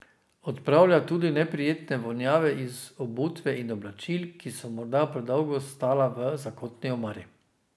Odpravlja tudi neprijetne vonjave iz obutve in oblačil, ki so morda predolgo stala v zakotni omari.